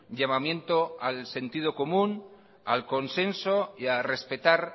llamamiento al sentido común al consenso y a respetar